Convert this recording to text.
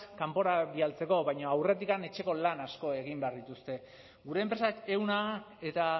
kanpora bidaltzeko baina aurretik etxeko lan asko egin behar dituzte gure enpresak ehuna eta